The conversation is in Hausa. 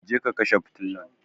Je ka kashe fitilan!